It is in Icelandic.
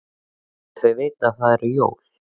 Skyldu þau vita að það eru jól?